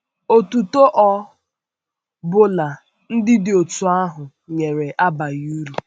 Otuto ọ bụla ndị dị otú ahụ nyere abaghị uru.